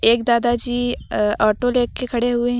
एक दादा जी अ ऑटो लेके खड़े हुए हैं।